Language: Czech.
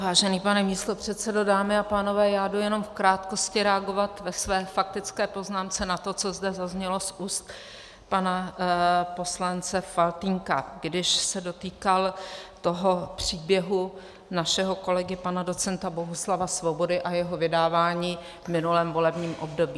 Vážený pane místopředsedo, dámy a pánové, já jdu jen v krátkosti reagovat ve své faktické poznámce na to, co zde zaznělo z úst pana poslance Faltýnka, když se dotýkal toho příběhu našeho kolegy pana docenta Bohuslava Svobody a jeho vydávání v minulém volebním období.